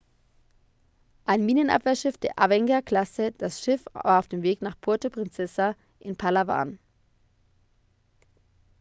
ein minenabwehrschiff der avenger-klasse das schiff war auf dem weg nach puerto princesa in palawan